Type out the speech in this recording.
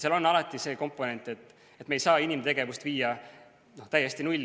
Seal on alati see komponent, et me ei saa inimtegevust viia täiesti nulli.